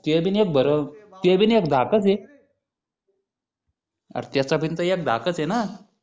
ते बिन एक धाकच हे अरे त्याचा पण एक धाकच हे न